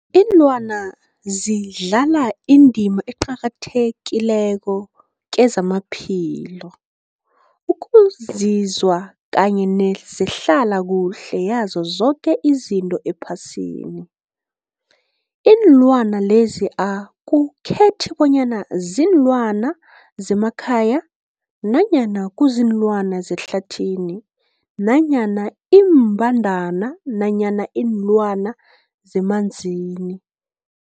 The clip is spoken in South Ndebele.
Ilwana zidlala indima eqakathekileko kezamaphilo, ukunzinza kanye nezehlala kuhle yazo zoke izinto ephasini. Iinlwana lezi akukhethi bonyana ziinlwana zemakhaya nanyana kuziinlwana zehlathini nanyana iimbandana nanyana iinlwana zemanzini.